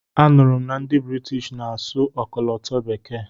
A nụrụ m na ndị Britishi na-asụ ọkọlọtọ bekee.